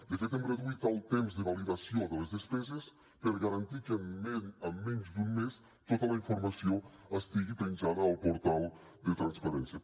de fet hem reduït el temps de validació de les despeses per garantir que en menys d’un mes tota la informació estigui penjada al portal de transparència